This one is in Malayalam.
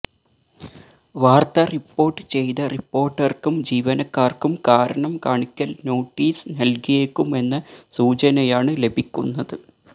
വാർത്ത റിപ്പോർട്ട് ചെയ്ത റിപ്പോർട്ടർക്കും ജീവനക്കാർക്കും കാരണം കാണിക്കൽ നോട്ടീസ് നൽകിയേക്കുമെന്ന സൂചനയാണ് ലഭിക്കുന്നത്